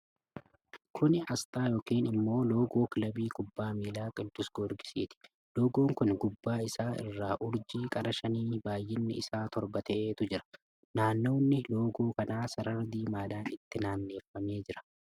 Kuni asxaa yookiin immoo loogoo kilabii kubbaa miilaa Qiddus Goorgissiiti. Loogoon kun gubbaa isaa irraa urjii qara shanii baay'inni isaa torba ta'etu irra jira. Naanawni loogoo kana sarara diimaadhaan itti naanneffamee jira.